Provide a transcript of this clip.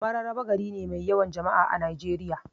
Mararaba gari ne mai yawan jama'a a Najeriya.